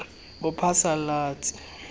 bophasalatsi